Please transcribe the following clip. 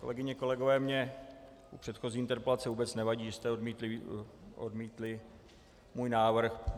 Kolegyně, kolegové, mně u předchozí interpelace vůbec nevadí, že jste odmítli můj návrh.